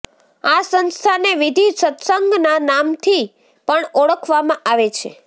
આ સંસ્થાને વિધિ સત્સંગના નામથી પણ ઓળખવામાં આવે છે